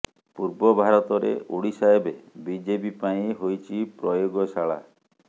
ପୂର୍ବ ଭାରତରେ ଓଡ଼ିଶା ଏବେ ବିଜେପି ପାଇଁ ହୋଇଛି ପ୍ରୟୋଗଶାଳା